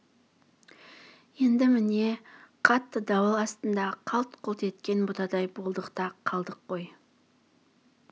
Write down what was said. енді міне қатты дауыл астында қалт-құлт еткен бұтадай болдық та қалдық қой